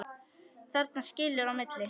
Þarna skilur á milli.